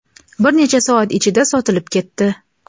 bir necha soat ichida sotilib ketdi.